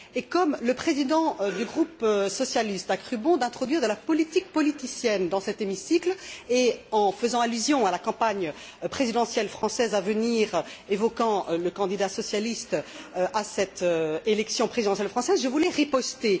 Comme le président du groupe socialiste a cru bon d'introduire de la politique politicienne dans cet hémicycle, en faisant allusion à la campagne présidentielle française à venir et en évoquant le candidat socialiste à cette élection présidentielle française, je voulais riposter.